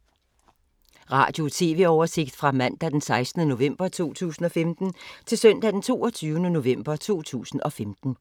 Radio/TV oversigt fra mandag d. 16. november 2015 til søndag d. 22. november 2015